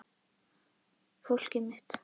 Fólkið mitt.